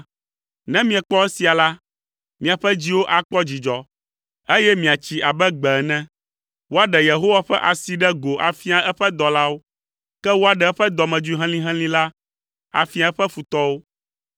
Ne miekpɔ esia la, miaƒe dziwo akpɔ dzidzɔ, eye miatsi abe gbe ene. Woaɖe Yehowa ƒe asi ɖe go afia eƒe dɔlawo. Ke woaɖe eƒe dɔmedzoe helĩhelĩ la, afia eƒe futɔwo.